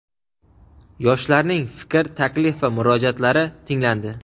Yoshlarning fikr, taklif va murojaatlari tinglandi.